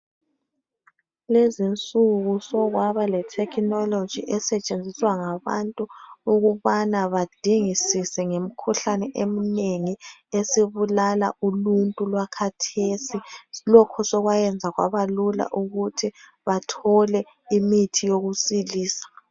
Lezinsuku sokwaba letechnology esetshenziswa ngabantu ukubana badingisise ngemkhuhlane eminengi esibulala uluntu lwakathesi. Lokhu sokwayenza kwabalula ukuthi bathole imithi yokusilisa.